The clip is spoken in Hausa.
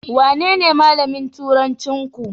Wanene malamin turancinku?